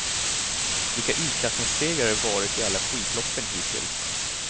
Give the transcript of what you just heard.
Vilka utklassningssegrar det varit i alla skidloppen hittills.